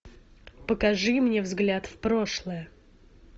покажи мне взгляд в прошлое